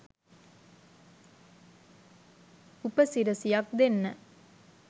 උපසිරසියක් දෙන්න